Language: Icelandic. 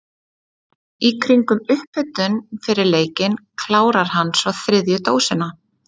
Í kringum upphitun fyrir leikinn klárar hann svo þriðju dósina.